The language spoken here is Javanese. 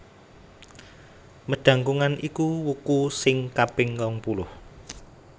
Medangkungan iku wuku sing kaping rongpuluh